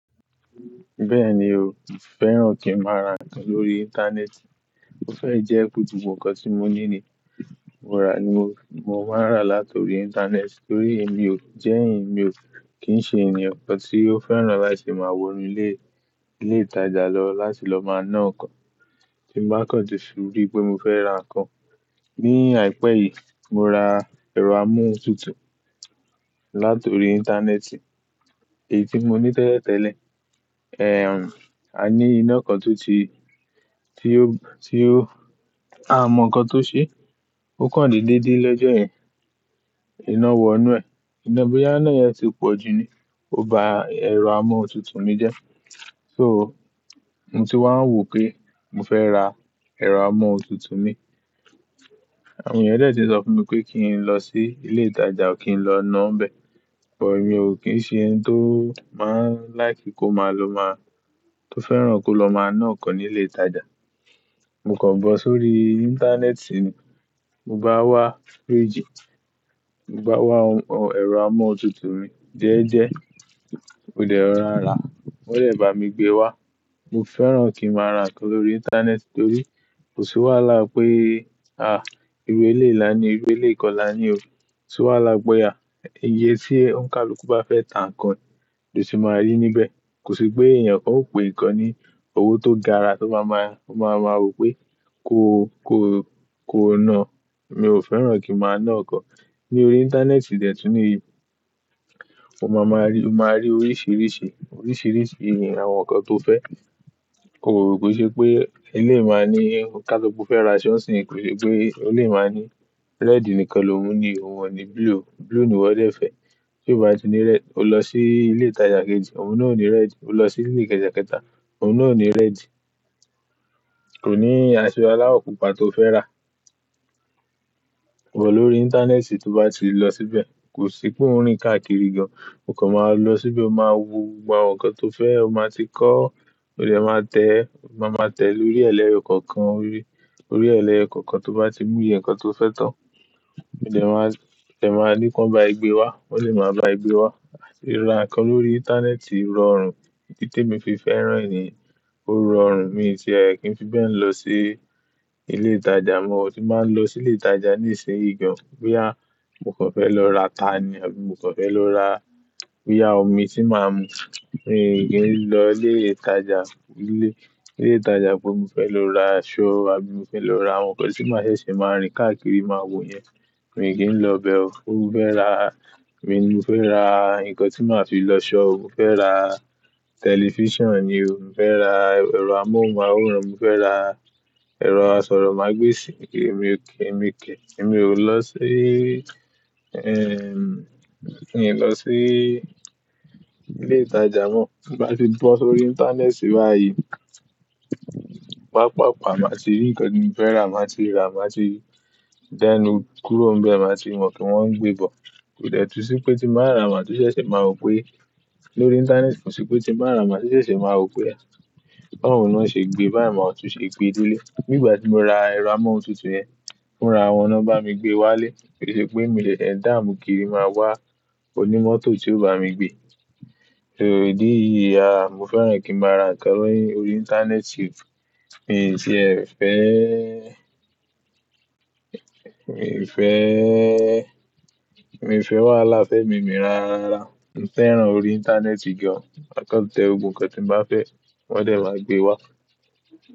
Bẹ́ẹ̀ni o, mo fẹ́ràn kí ń máa ra nǹkan lórí Internet Ó fẹ́ jẹ́ pé tí ń mú nǹkan tí mo ní ni mo rà ni mo máa ń rà látòrí Internet Torí èmi o jẹ́ ẹni tí ń ṣe ènìyàn kan tí ó fẹ́ràn láti máa wọ inú ilé ìtajà lọ láti lọ máa ná ọkàn tí mo bá kàn jù surí pé mo fẹ́ ra nǹkan. Ni àìpẹ́ yìí, mo ra ẹ̀rọ amóhuntutù látòrí Internet èyí tí mo ní tẹ́lẹ̀ tẹ́lẹ̀. A ní iná kan tó ti, tí ó, a mọ̀ kan tó ṣe, ó kan dídí lẹ́jọ́ yen iná wọ inú ẹ̀, iná bóyá iná yẹn ti pọ̀ ju ni, ó ba ẹ̀rọ amóhuntutù mi jẹ́. So mo ti wá ń wò pé mo fẹ́ ra ẹ̀rọ amóhuntutù mi. Àwọn ènìyàn de tíń sọ fún mi pé kí n lọ sí ilé ìtajà kí n lọ ná bẹ. But, mí o kín ń ṣe ẹni tó máa ń líke kó máa lọ máa, tó fẹ́ràn kó lọ máa ná nkàn ní ilé ìtajà. Mo kàn bọ̀ sórí Internet ni. Mo bá wá fridge, mo bá wá ẹ̀rọ amóhuntutù mi jẹ́ẹ́jẹ́, ó dẹ̀ rorá. Wọ́n dẹ̀ bá mi gbé wá. Mo fẹ́ràn kí ń máa ra nǹkan lórí Internet torí kò sí wàhálà pé, iru eleyi là ni, eleyii kọ̀ lá ni o. Kò sí wàhálà pé à, iye tí òǹkà oluku bá fẹ́ tà nǹkan ni o ti máa rí níbẹ̀. Kò sí pé ènìyàn kan ó pe nǹkan ní owó tó gara tó bá máa, ó máa mọ wípé kó, kó, kó ná. Mi ò fẹ́ràn kí ń máa ná ọkàn. Ní orí Internet dè tún ni yii, o máa máa rí, o máa rí oríṣìíríṣìí, oríṣìíríṣìí àwọn nǹkan tó fẹ́. Kò lè ṣe pé ilé ì máa ní kaaso pe o fẹ́ ra aṣọ̀ ń sìn. Kò lè pé ilé ì máa ní red nìkan, lòun ni òun ọ̀un ní blue, blue ni wọ́n dẹ̀ fẹ́. Tí ó bá ti ní red o lọ sí ilé ìtajà kejì, òun náà ò ní red. O lọ sí ilé kẹẹ̀ta kẹta, òun náà ò ní red. Kò ní aṣọ aláwọ̀ pupa tó fẹ́ rà. Bọ̀ lórí Internet tí o bá ti lọ síbẹ̀, kò sí pé ń rìn káàkiri gan. O kàn máa lọ síbẹ̀, o máa wo àwọn nǹkan tó fẹ́, o máa ti kọ́, ó dẹ̀ máa tẹ̀, máa tẹ̀ lórí ẹ̀lẹ́rìí kọ̀ọ̀kan rere. Lórí ẹ̀lẹ́yo kọ̀ọ̀kan tó bá ti mú ìyẹn nǹkan tó fẹ́ tán, ó dẹ̀ máa, ó dẹ̀ máa ní kí wọ́n bá a gbé wá, wọ́n lè máa bá a gbé wá. Ra nǹkan lórí Internet rọrùn. Idi te mi fi fẹ́ràn e nìyẹn, ó rọrùn. Mi ò tíì kì ń fi bẹ́ẹ̀ lọ sí ilé ìtajà mọ́. Tin ba ń lọ sí ilé ìtajà ní ìsìn ì gàn. Bóyá mo kàn fẹ́ lọ ra tani abi mo kàn fẹ́ lọ ra bóyá omi tí màá ń mu. Mi ò kí ń lọ ilé ìtajà, ilé ìtajà bó mi fẹ́ lọ ra aṣọ abi mo fẹ́ lọ ra àwọn nǹkan tí màá ṣe ṣe máa rìn káàkiri, máa wò yẹn, mi ò kí ń lọ bẹ o. Ó fẹ́ ra, mi ni mo fẹ́ ra nǹkan tí màá fi lọ ṣọ́, mo fẹ́ ra tẹlifíṣàn ni o, mo fẹ́ ra ẹ̀rọ amóhunmáhóòran, mo fẹ́ ra ẹ̀rọ asọ̀rọ̀ màgbesì ni, èmi ò kí, èmi ò kí, èmi ò lọ sí, èmi ò lọ sí ilé ìtajà mọ́. Tin ba ti bọ̀ sórí Internet báyìí, pàápàá máa ti rí nǹkan tí mo fẹ́ rà, màá ti rà, màá ti dẹ́nu kúrò níbẹ̀, màá ti wọ́n kí wọ́n gbé bọ̀. Kò dè tún sí pé tí màá rà máa tún ṣẹ̀ṣẹ̀ máa wò pé lórí Internet kò sí pé tí màá rà máa tún ṣẹ̀ṣẹ̀ máa wò pé Wọ́n ò ní ó ṣe gbé báyìí mọ́, ó tún ṣe gbé dé ilé. Nígbà tí mo ra ẹ̀rọ amóhuntutù yẹn, mo ra wọn náà bá mi gbé wá ilé. Kò sí pé mi sèsè dáàmú kiri máa wá. Kò ní mọ́tò tí ó bá mi gbé. So, ìdí yìí ni mo fẹ́ràn kí ń máa ra nǹkan lórí, lórí Internet Mi tíe fẹ́e mi fẹ́, mi ò fẹ́ wàhálà fẹ́mi mi ráárá. Mo fẹ́ràn orí Internet gan. Ma kàn tẹ́ o, gbogbo nǹkan tí mo bá fẹ́ wọn dẹ̀ máa gbé wá.